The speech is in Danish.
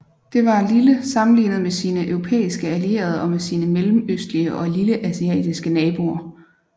Det var lille sammenlignet med sine europæiske allierede og med sine mellemøstlige og lilleasiatiske naboer